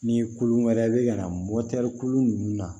Ni kulu wɛrɛ bɛ yan kulu ninnu na